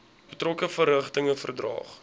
betrokke verrigtinge verdaag